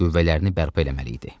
Qüvvələrini bərpa eləməli idi.